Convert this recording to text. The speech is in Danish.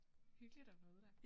Hyggeligt at møde dig